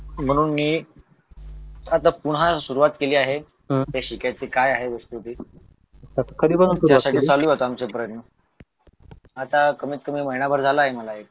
म्हणून मी आता पुन्हा सुरुवात केली आहे ते शिकायची काय आहे वस्तू ती तर चालू आहेत माझे प्रयत्न आता कमीत कमी महिनाभर झाला आहे मला एक